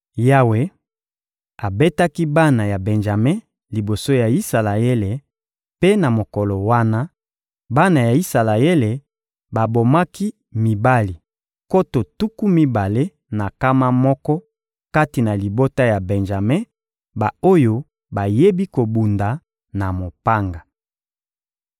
Yawe abetaki bana ya Benjame liboso ya Isalaele, mpe, na mokolo wana, bana ya Isalaele babomaki mibali nkoto tuku mibale na nkama moko kati na libota ya Benjame, ba-oyo bayebi kobunda na mopanga.